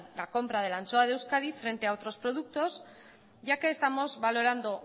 la compra de la anchoa de euskadi frente a otros productos ya que estamos valorando